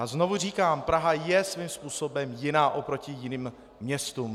A znovu říkám, Praha je svým způsobem jiná oproti jiným městům.